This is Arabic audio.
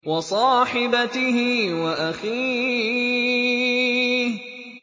وَصَاحِبَتِهِ وَأَخِيهِ